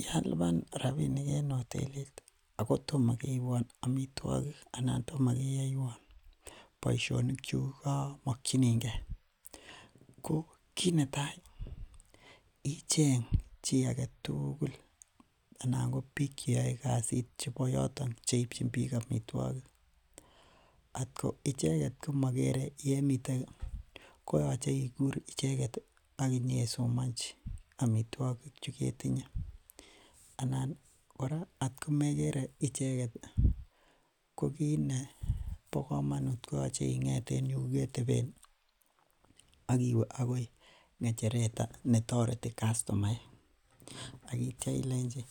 Yealunan rabinik en hotelit ako tomakeibuan amituakik ih anan tomakeyaiwan boisionik chekemokinige ih. Ko kit netai icheng chi agetugul anan ko bik cheyai kasit chebo yoton cheichin bik amituakik. Atko icheket ko magere yemiten koyache ikur icheket ih akinyesomanchi amituakik chukemoe. Anan atkomegere icheket ih ko kit nebo komanut ih, koyache ing'et en yuketeben iwe akoi ng'echeret nekitoreten kastomaek. Aitya ilenchi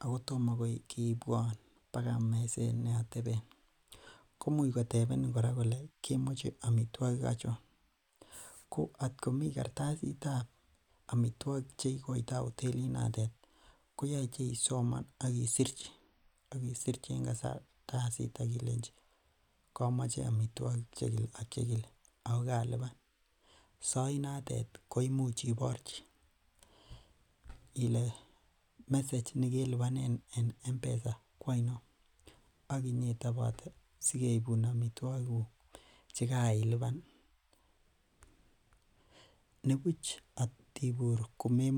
ako toma keibuan akoi meset neateben komuch kotebeni kole kemoche amituakik achon. Ko atkomi kartasitab listiab amituakik cheikoita hotelit noton ih koyache isoman akisirchi ilenchi kamache amituakik chekile ak chekile. Ako kaluban sait notet koimuch ibairch [message nekelubanen en mpesa koainon. Akinyetobote sigeibun amituakik kuk chekailuban nibuch atubur komemwachi.